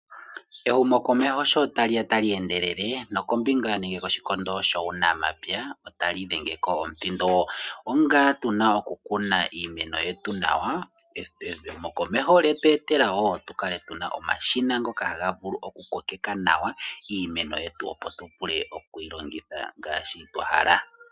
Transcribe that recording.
Ehumokomeho sho tali ya tali endelele nokombinga nenge koshikondo shuunamapya otali dhenge ko omuthindo onga tuna okukuna iimeno yetu nawa. Ehumokomeho lyetweetela wo tuvule okukala tuna omashina ngoka haga vulu okukokeka nawa iimeno yetu opo tuvule vule okuyi longitha ngaashi twahala.